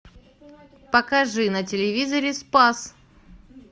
покажи на телевизоре спас